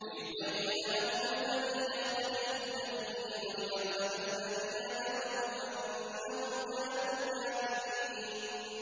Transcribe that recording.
لِيُبَيِّنَ لَهُمُ الَّذِي يَخْتَلِفُونَ فِيهِ وَلِيَعْلَمَ الَّذِينَ كَفَرُوا أَنَّهُمْ كَانُوا كَاذِبِينَ